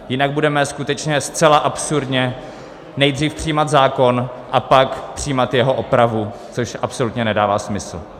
Jinak budeme skutečně zcela absurdně nejdříve přijímat zákon, a pak přijímat jeho opravu, což absolutně nedává smysl.